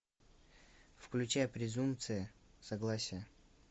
включай презумпция согласия